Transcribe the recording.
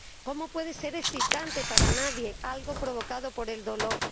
¿Cómo puede ser excitante para nadie algo provocado por el dolor?